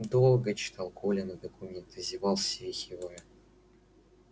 долго читал колины документы зевал свихивая